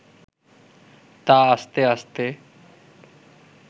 তা আস্তে আস্তে